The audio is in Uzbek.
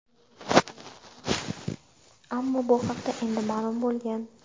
ammo bu haqda endi ma’lum bo‘lgan.